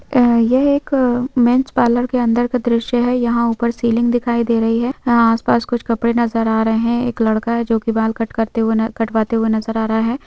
यह एक men's parlour के अंदर का दृश्य है यहां ऊपर सीलिंग दिखाई दे रही है आसपास कुछ कपड़े नजर आ रहे हैं एक लड़का है जो की बाल कट करते हुए ना कटवाते हुए नजर आ रहा है।